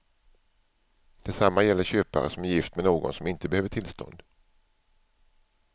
Detsamma gäller köpare som är gift med någon som inte behöver tillstånd.